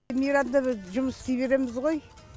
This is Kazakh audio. мейрамда біз жұмыс істей береміз ғой